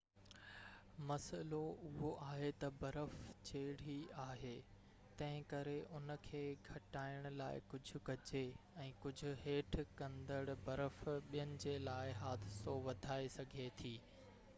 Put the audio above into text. مسئلو اهو آهي تہ برف چيڙهي آهي تنهنڪري ان کي گهٽائڻ لاءِ ڪجهہ ڪجي ۽ ڪجهہ هيٺ ڪرندڙ برف ٻين جي لاءِ حادثو وڌائي سگهي ٿي